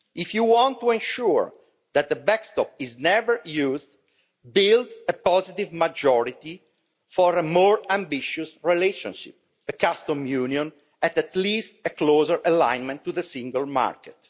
If you want to ensure that the backstop is never used, build a positive majority for a more ambitious relationship a customs union and at least a closer alignment with the single market.